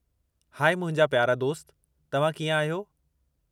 High मुंहिंजा प्यारा दोस्त , तव्हां कीअं आहियो?